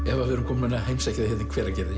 Eva við erum komin að heimsækja þig í Hveragerði